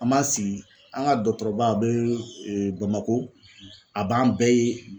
An b'an sigi an ŋa dɔɔtɔrɔba a bee Bamako a b'an bɛɛ ye